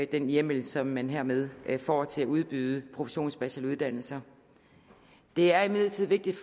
den hjemmel som man hermed får til at udbyde professionsbacheloruddannelser det er imidlertid vigtigt